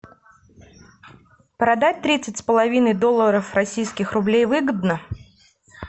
продать тридцать с половиной долларов российских рублей выгодно